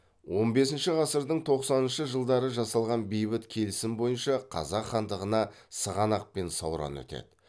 он бесінші ғасырдың тоқсаныншы жылдары жасалған бейбіт келісім бойынша қазақ хандығына сығанақ пен сауран өтеді